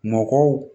Mɔgɔw